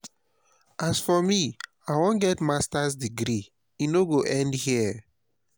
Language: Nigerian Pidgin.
as for me i wan get masters degree e no go end here